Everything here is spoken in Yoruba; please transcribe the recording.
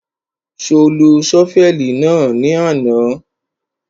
Ṣo lo ṣọ́fẹ̀lì náà ní àná?